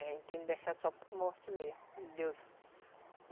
A gente tem que deixar só por morte mesmo, Deus